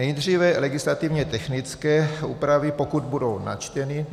Nejdříve legislativně technické úpravy, pokud budou načteny.